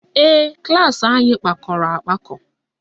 Ee, klaasị anyị kpakọrọ akpakọ